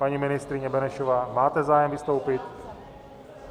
Paní ministryně Benešová, máte zájem vystoupit?